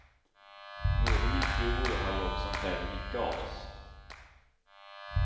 Både min fru och jag har jobb som kräver mycket av oss.